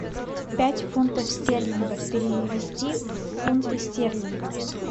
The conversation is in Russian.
пять фунтов стерлингов перевести в фунты стерлинга